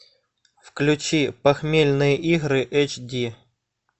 включи похмельные игры эйч ди